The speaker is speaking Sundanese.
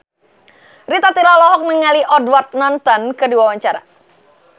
Rita Tila olohok ningali Edward Norton keur diwawancara